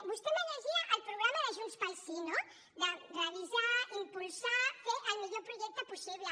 vostè em llegia el programa de junts pel sí no de revisar impulsar fer el millor projecte possible